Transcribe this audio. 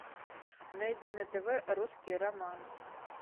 найди на тв русский роман